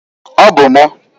Ọ bụ m.